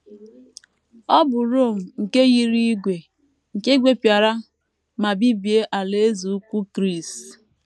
Ọ bụ Rom nke yiri ígwè, nke gwepịara ma bibie Alaeze Ukwu Gris.